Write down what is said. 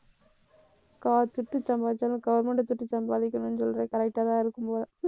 கா துட்டு சம்பாரிச்சாலும் government அ துட்டு சம்பாதிக்கணும்னு சொல்றது correct ஆதான் இருக்கும்போல